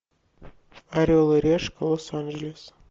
орел и решка лос анджелес